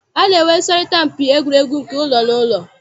A na-enwe nsọrịta mpi egwuregwu nke ụlọ na ụlọ.